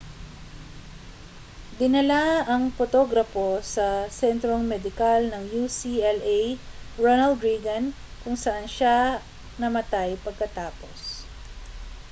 dinala ang potograpo sa sentrong medikal ng ucla ronald reagan kung saan siya namatay pagkatapos